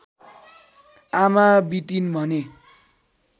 आमा बितिन् भने